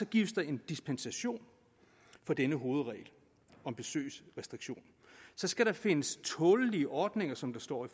gives der dispensation fra denne hovedregel om besøgsrestriktioner så skal der findes tålelige ordninger som der står i